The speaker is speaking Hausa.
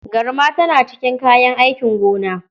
Garma tana cikin kayan aikin gona.